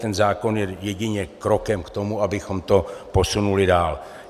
Tento zákon je jedině krokem k tomu, abychom to posunuli dál.